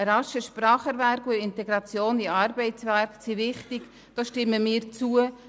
Ein rascher Spracherwerb und die Integration in den Arbeitsmarkt sind wichtig, dem stimmen wir zu.